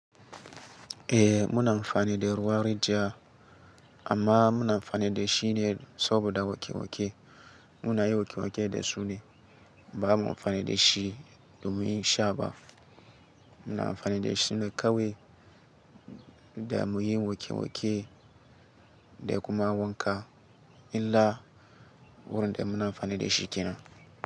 Eh muna amfani da ruwan rijiya amma muna amfani da shi ne saboda waƙe-waƙe. Muna yi wake-wake da su ne, ba mu amfani da shi do mun yin shaba. Muna amfani da shi ne kawai da muyi wake-wake da kuma wanka illa wurin da muna amfani da shi kenan.